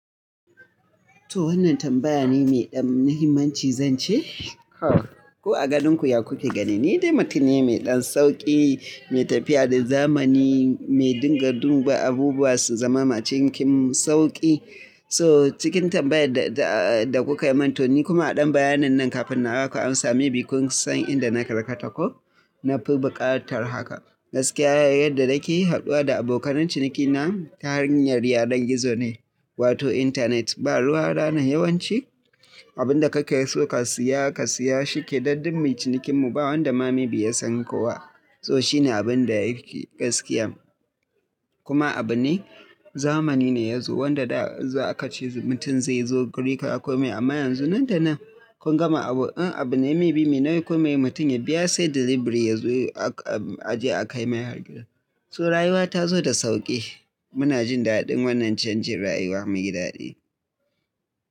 To wannan tambaya ne mai ɗan mahimmanci, zanci? Haka. Ko a ganin ku ya ku ke ganin ne, dai mutum ne mai ɗan sauƙi, mai tafiya da zamani, mai dinga duba abubuwa su zama a cikin sauƙi. So cikin tambayar da kuka yi, mantoni kuma a ɗan bayanin nan kafin na haka ansa, maybe kun san inda na karkata ko. Na fi buƙatar haka. Gaskiya yadda nake haɗuwa da abokanai cinikina ta hanyar yanar gizo ne wato internet. Ba ruwa rana yawanci abin da kake so ka siya ka siya shi kenan duk mai cinikin mu ba wadda ma maybe ya san kowa. To shine abin da yake gaskiya. Kuma abu ne zamani ne ya zo wadda da za a ka ce mutum zai zo guri ka aiko mai amma yanzu nan da nan kun gama abu in abu ne maybe me nauyi ka aiko mai mutum ya biya sai delivery ya zo aje a kai mai har gidan sa. So rayuwa ta zo da sauƙi. Muna jin daɗin wannan canjin rayuwa mai daɗi.